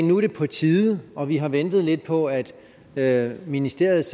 nu er det på tide og vi har ventet lidt på at at ministeriet